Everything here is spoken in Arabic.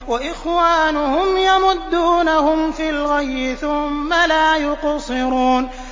وَإِخْوَانُهُمْ يَمُدُّونَهُمْ فِي الْغَيِّ ثُمَّ لَا يُقْصِرُونَ